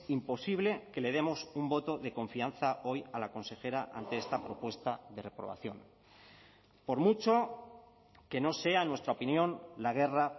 imposible que le demos un voto de confianza hoy a la consejera ante esta propuesta de reprobación por mucho que no sea en nuestra opinión la guerra